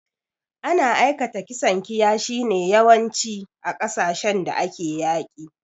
Ana aikata kisan kiyashi ne yawanci, a kasashin da ake yaƙi.